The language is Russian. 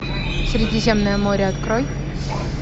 средиземное море открой